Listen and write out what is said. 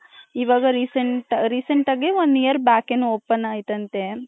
ಇವಾಗ recent recent ಆಗಿ one year back open ಆಯ್ತ್ ಅಂತೆ .